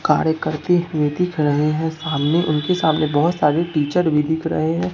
कार्य करती हुई दिख रहे हैं सामने उनके सामने बहोत सारे टीचर भी दिख रहे हैं।